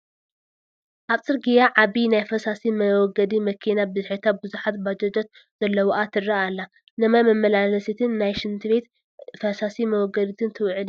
ኣብ ፅርግያ ዓባይ ናይ ፈሳሲ መወገዲ መኪና ብድሕሪታ ብዙሓት ባጃጃት ዘለዋኣ ትረአ ኣላ፡፡ ንማይ መመላለሲትን ንናይ ሽንት ቤት ፈሳሲ መወገዲትን ትውዕል እያ፡፡